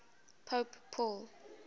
pope paul